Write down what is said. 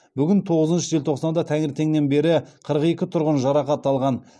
бүгін тоғызыншы желтоқсанда таңертеңнен бері қырық екі тұрғын жарақат алған